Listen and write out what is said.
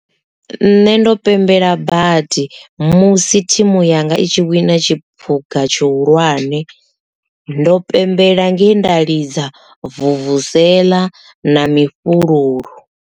Nṋe ndo pembela badi musi thimu yanga i tshi wina tshiphuga tshihulwane ndo pembela nge nda lidza vuvuzela na mifhululu.